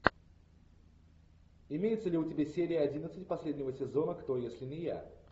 имеется ли у тебя серия одиннадцать последнего сезона кто если не я